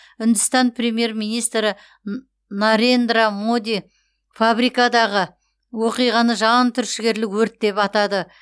үндістан премьер министрі нарендра моди фабрикадағы оқиғаны жан түршігерлік өрт деп атады